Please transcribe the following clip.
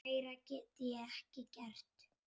Meira get ég ekki gert.